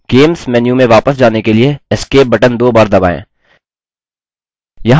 games menu में वापस जाने के लिए escape बटन दो बार दबाएँ